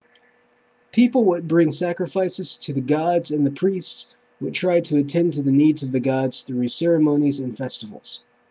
people would bring sacrifices to the gods and the priests would try to attend to the needs of the gods through ceremonies and festivals